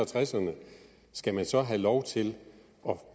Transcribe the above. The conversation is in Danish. tresserne skal man så have lov til